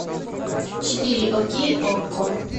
четыре окей окко